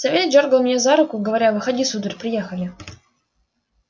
савельич дёргал меня за руку говоря выходи сударь приехали